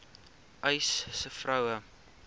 uys sê vroue